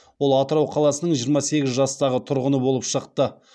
ол атырау қаласының жиырма сегіз жастағы тұрғыны болып шықты